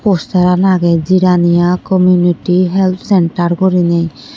fostaran agey jiraniya komiyniti help sentar guriney.